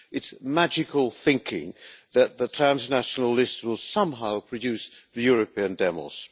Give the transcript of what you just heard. It's magical thinking that the transnational list will somehow produce the European demos.